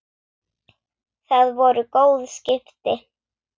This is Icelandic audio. Það voru góð skipti.